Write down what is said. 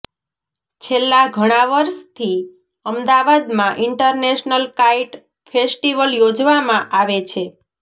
છેલ્લા ઘણાં વર્ષથી અમદાવાદમાં ઇન્ટરનેશનલ કાઇટ ફેસ્ટિવલ યોજવામાં આવે છે